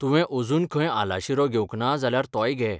तुवें अजुन खंय आलाशिरो घेवंक ना जाल्यार तोय घे.